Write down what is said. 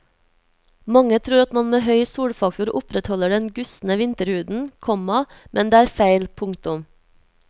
Mange tror at man med høy solfaktor opprettholder den gustne vinterhuden, komma men det er feil. punktum